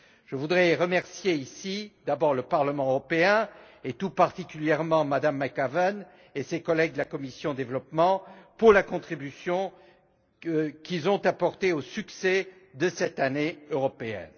Je voudrais remercier, ici, d'abord le Parlement européen et, tout particulièrement, Mme McAvan et ses collègues de la commission du développement pour la contribution qu'ils ont apportée au succès de cette Année européenne.